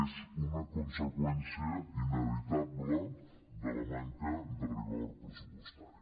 és una conseqüència inevitable de la manca de rigor pressupostari